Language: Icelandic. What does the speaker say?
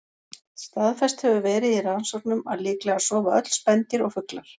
Staðfest hefur verið í rannsóknum að líklega sofa öll spendýr og fuglar.